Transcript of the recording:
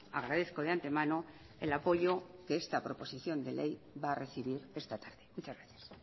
agradezco de antemano el apoyo que esta proposición de ley va a recibir esta tarde muchas gracias